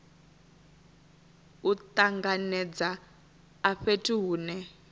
u tanganedza a fhethu hune